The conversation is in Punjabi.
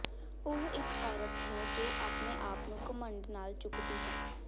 ਉਹ ਇੱਕ ਔਰਤ ਹੈ ਜੋ ਆਪਣੇ ਆਪ ਨੂੰ ਘਮੰਡ ਨਾਲ ਚੁੱਕਦੀ ਹੈ